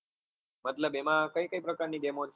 મતલબ એમાં કઈ કઈ પ્રકાર ની game છે?